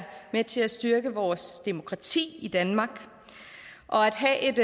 med til at styrke vores demokrati i danmark og at have et